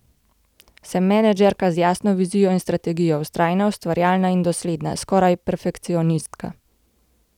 Sem menedžerka z jasno vizijo in strategijo, vztrajna, ustvarjalna in dosledna, skoraj perfekcionistka.